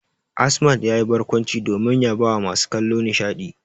Asmad yayi barkwanci domin ya bawa masu kallo nishadi.